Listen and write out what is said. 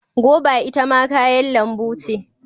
Goba ita ma kayan lambu ce.